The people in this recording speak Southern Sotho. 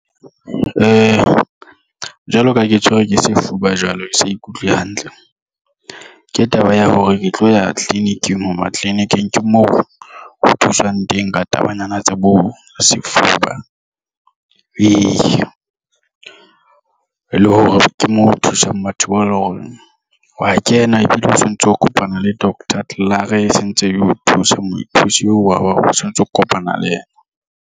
Jwaloka ha ke tshwerwe ke sefuba jwale ke sa ikutlwe hantle ke taba ya hore ke tlo ya tleliniking ho ba tleleniking ke mo ho thuswang teng ka tabanyana tsa bo sefuba. Eya, e le hore ke mo thuswang batho bao e leng hore wa kena ebile o sontso o kopana le doctor klaar e sentse e o thusa mothusi eo wa o sontso o kopana le yena.